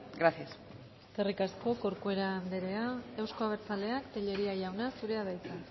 gracias eskerrik asko corcuera andrea euzko abertzaleak telleria jauna zurea da hitza